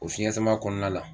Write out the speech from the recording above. O fiɲɛ sama kɔnɔna la